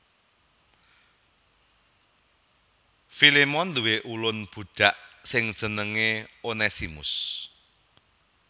Filemon nduwé ulun budhak sing jenengé Onesimus